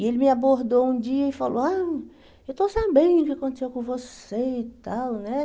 E ele me abordou um dia e falou, ah, eu estou sabendo o que aconteceu com você e tal, né?